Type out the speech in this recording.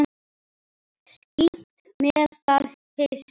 Skítt með það hyski.